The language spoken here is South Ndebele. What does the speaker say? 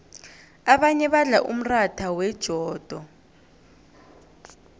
abanye badla umratha wejodo